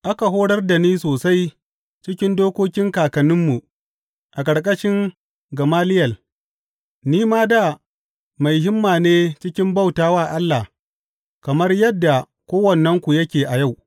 Aka horar da ni sosai cikin dokokin kakanninmu a ƙarƙashin Gamaliyel ni ma dā mai himma ne cikin bauta wa Allah kamar yadda kowannenku yake a yau.